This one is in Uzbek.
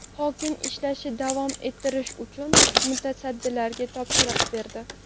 Hokim ishlarni davom ettirish uchun mutasaddilarga topshiriq berdi.